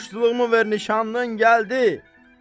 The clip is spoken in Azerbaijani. Muştuluğumu ver nişanlımın gəldi.